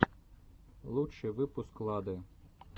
лучший выпуск лады